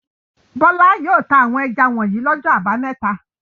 Bọ́lá yóò ta àwọn ẹja wọ̀nyí lọ́jọ́ àbámẹ́ta.